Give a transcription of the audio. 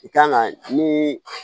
I kan ka nii